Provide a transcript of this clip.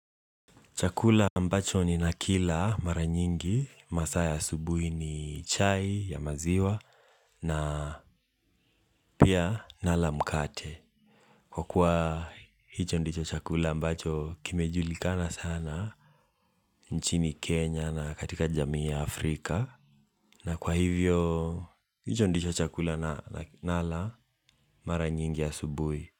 Chakula ambacho ninakila mara nyingi, masaa ya asubuhi ni chai ya maziwa na pia nala mkate. Kwa kuwa hicho ndicho chakula ambacho kimejulikana sana nchini Kenya na katika jamii ya Afrika. Na kwa hivyo hicho ndicho chakula nala mara nyingi asubuhi.